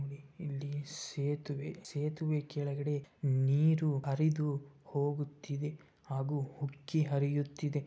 ಇಲ್ಲಿ ಸೇತುವೆ ಸೇತುವೆ ಕೆಳಗೆ ನೀರು ಹರಿದು ಹೋಗುತ್ತಿದೆ ಹಾಗು ಉಕ್ಕಿ ಹರಿಯುತ್ತಿದೆ.